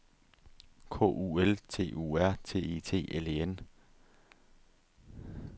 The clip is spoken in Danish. K U L T U R T I T L E N